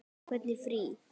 Hvernig frí.